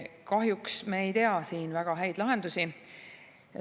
Kahjuks me ei tea siin väga häid lahendusi.